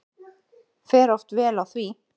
Fer oft vel á því.